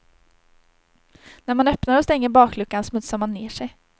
När man öppnar och stänger bakluckan smutsar man ner sig.